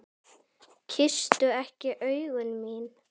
Kysstu ekki augu mín.